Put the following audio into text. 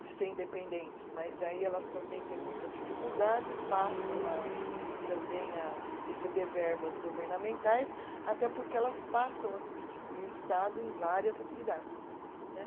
de ser independentes, mas daí elas também têm muita dificuldade e passam a, também a receber verbas governamentais, até porque elas passam a substituir o Estado em várias atividades né.